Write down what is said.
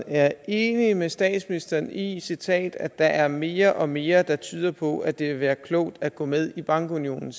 er enig med statsministeren i at der er mere og mere der tyder på at det vil være klogt at gå med i bankunionen